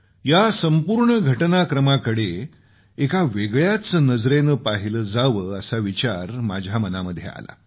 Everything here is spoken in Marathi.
या संपूर्ण घटनाक्रमाकडे एका वेगळ्याच नजरेनं पाहिलं जावं असा विचार माझ्या मनामध्ये आला